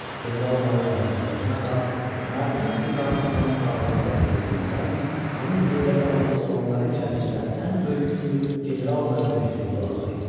General-mayor Məhəmməd Həsən Ağa mərhum İbrahim xanın sağlığında öldüyündən, xanın yerdə qalan oğlanları içərisində ən böyüyü general-mayor Mehdiqulu Ağa idi.